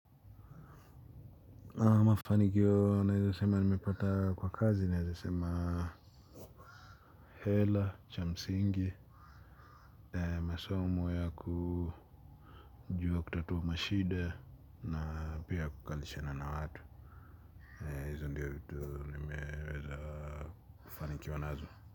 Na mafanikio naeza sema nimepata kwa kazi naeza sema hela cha msingi masomo ya kujua kutatua mashida na pia kukalishana na watu hizo ndiyo vitu nimeweza kufanikiwa nazo.